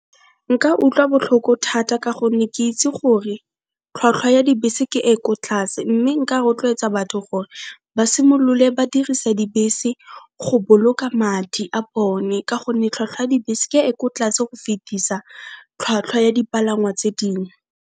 Nka utlwa botlhoko thata ka gonne ke itse gore tlhwatlhwa ya dibese ke e ko tlase mme nka rotloetsa batho gore ba simolole ba dirise dibese go boloka madi a bone, ka gonne tlhwatlhwa ya dibese ke e ko tlase go fitisa tlhwatlhwa ya dipalangwa tse dingwe.